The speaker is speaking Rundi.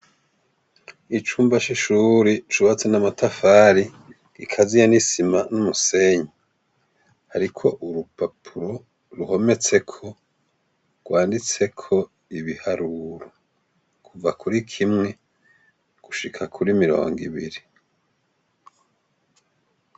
Icumba shishuri cubatse n'amatafari gikaziye n'isima n'umusenyi, ariko urupapuro ruhometseko rwanditseko ibiharuru guva kuri kimwe gushika kuri mirongo ibiri.